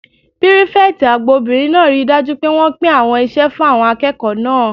Pírífẹ̀tì àgbà obìnrin náà ríi dájú pé wọ́n pín àwọn iṣẹ́ fún àwọn akẹ́kọ̀ọ́ náà